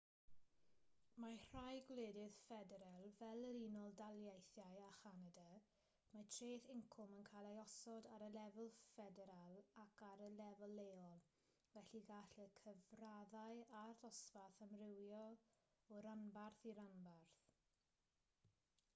mewn rhai gwledydd ffederal fel yr unol daleithiau a chanada mae treth incwm yn cael ei osod ar y lefel ffederal ac ar y lefel leol felly gall y cyfraddau a'r dosbarth amrywio o ranbarth i ranbarth